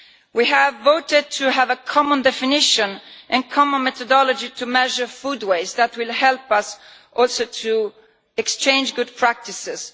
We have voted to have a common definition and common methodology to measure food waste, and that will also help us to exchange good practices.